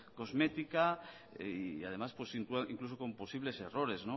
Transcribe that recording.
cosmética y además incluso con posibles errores